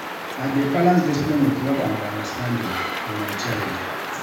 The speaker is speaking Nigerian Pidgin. I dey balance discipline wit love and understanding for my child.